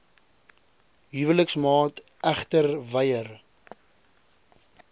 huweliksmaat egter weier